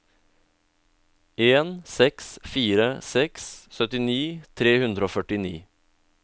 en seks fire seks syttini tre hundre og førtini